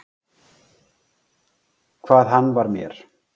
Hvað hann var mér.